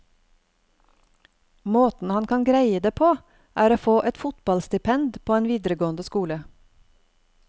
Måten han kan greie det på, er å få et fotballstipend på en videregående skole.